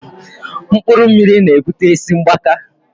Mkpụrụ mmiri na ebute isi mgbaka